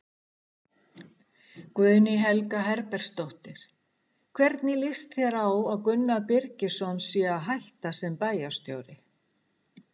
Guðný Helga Herbertsdóttir: Hvernig lýst þér á að Gunnar Birgisson sé að hætta sem bæjarstjóri?